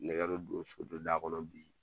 Nɛgɛ bɛ don so don da kɔnɔ bi